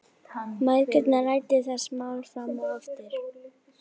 Mæðgurnar ræddu þessi mál fram og aftur.